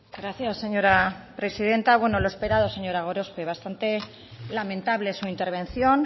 gracias señora presidenta lo esperado señora gorospe bastante lamentable su intervención